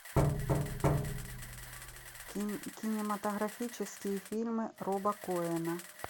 кинематографические фильмы роба коэна